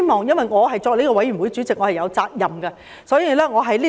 由於我是法案委員會主席，因此有責任立此存照。